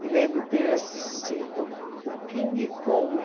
Me lembro de ter assistido o King Kong.